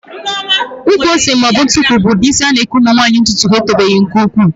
Ụkwụ ose maọbụ ntukwu bụ ụdị isi a na-eke nwaanyị ntụtụ ya etobeghị nke ukwuu